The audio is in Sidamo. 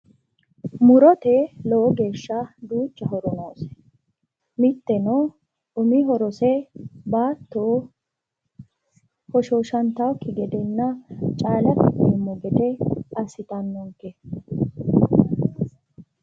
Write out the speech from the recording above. Murote lowoti horo noose iseno baatto hoshoshantanokki gede caale ikkite